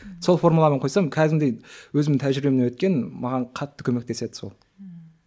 сол формуланы қойсам кәдімгідей өзім тәжірибемнен өткен маған қатты көмектеседі сол ммм